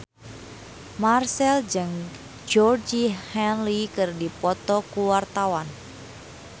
Marchell jeung Georgie Henley keur dipoto ku wartawan